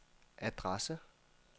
adresse